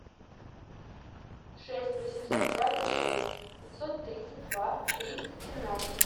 шесть восемьсот двадцать шесть пятьсот тридцать два тридцать семнадцать